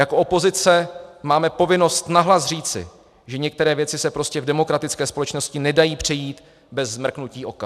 Jako opozice máme povinnost nahlas říci, že některé věci se prostě v demokratické společnosti nedají přejít bez mrknutí oka.